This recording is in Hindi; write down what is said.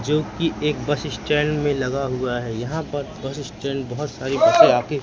जो की एक बस स्टैंड में लगा हुआ है यहां पर बस स्टैंड बहोत सारी बसें आके--